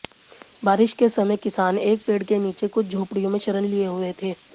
बारिश के समय किसान एक पेड़ के नीचे कुछ झोपड़ियों में शरण लिए हुए थे